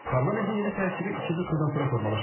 Parlamentin yeni tərkibi ikinci turdan sonra formalaşacaq.